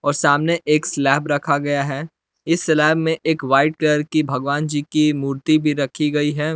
और सामने एक स्लैब रखा गया है इस स्लैब में एक वाइट कर की भगवान जी की मूर्ति भी रखी गई है।